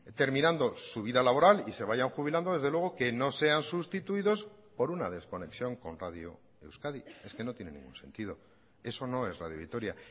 terminando su vida laboral y se vayan jubilando desde luego que no sean sustituidos por una desconexión con radio euskadi es que no tiene ningún sentido eso no es radio vitoria